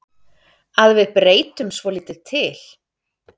Að við breytum svolítið til.